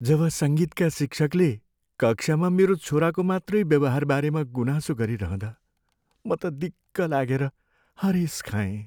जब सङ्गीतका शिक्षकले कक्षामा मेरो छोराको मात्रै व्यवहारबारेमा गुनासो गरिरहँदा म त दिक्क लागेर हरेश खाएँ।